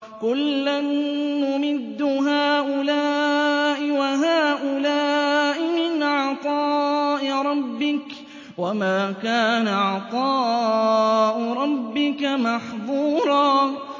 كُلًّا نُّمِدُّ هَٰؤُلَاءِ وَهَٰؤُلَاءِ مِنْ عَطَاءِ رَبِّكَ ۚ وَمَا كَانَ عَطَاءُ رَبِّكَ مَحْظُورًا